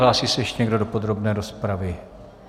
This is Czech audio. Hlásí se ještě někdo do podrobné rozpravy?